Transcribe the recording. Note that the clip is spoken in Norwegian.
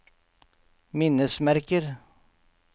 minnesmerker